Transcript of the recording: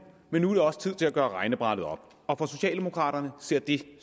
men nu er det også tid til at gøre regnebrættet op og for socialdemokraterne ser det